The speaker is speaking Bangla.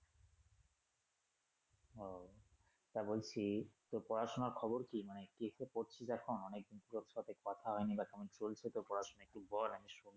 ও তা বলছি তোর পড়াশুনার খবর কী? মানে একটা পড়ছিস এখন অনেকদিন তোর সাথে কথা হয়নি বা কেমন চলছে তোর পড়াশুনা একটু বল আমি শুনি।